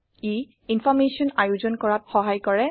ই information আয়োজন কৰাত সহায় কৰে